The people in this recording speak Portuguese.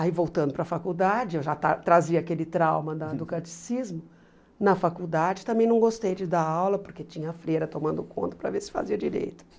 Aí voltando para a faculdade, eu já está trazia aquele trauma da do catecismo, na faculdade também não gostei de dar aula, porque tinha a freira tomando conta para ver se fazia direito.